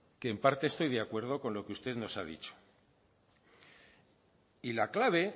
que en parte estoy de acuerdo con lo que usted nos ha dicho y la clave